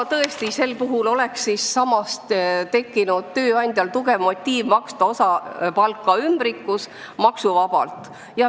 Tõesti, sel juhul oleks tööandjal tekkinud tugev motiiv maksta osa palka maksuvabalt ümbrikus.